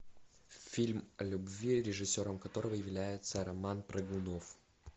фильм о любви режиссером которого является роман прыгунов